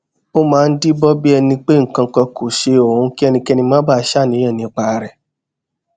ó máa ń díbọn bí ẹni pé nnkan kan kò ṣe òun kí ẹnikẹni má baà ṣàníyàn nípa rẹ